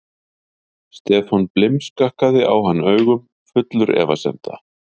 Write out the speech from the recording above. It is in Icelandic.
Stefán blimskakkaði á hann augum, fullur efasemda.